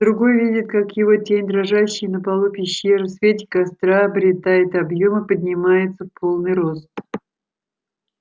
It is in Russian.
другой видит как его тень дрожащая на полу пещеры в свете костра обретает объём и поднимается в полный рост